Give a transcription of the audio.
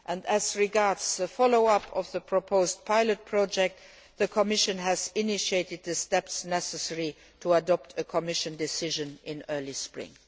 As regards follow up of the proposed pilot project, the Commission has initiated the steps necessary to adopt a Commission decision in early spring.